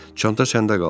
Çanta səndə qalsın.